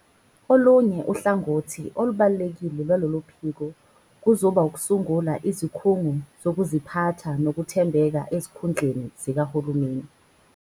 Olunye uhlangothi olubalulekile lwaloluphiko kuzoba ukusungula izikhungo zokuziphatha nokuthembeka ezikhundleni zikahulumeni.